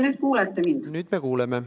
Nüüd me kuuleme.